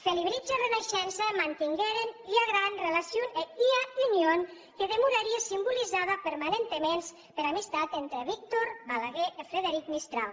felibritge e reneishença mantengueren ua grana relacion e ua union que demorarie simbolizada permanentaments pera amis tat entre víctor balaguer e frederic mistral